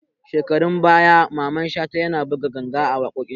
Shekarun baya Maman Shata ya na buga ganga a waƙoƙin shi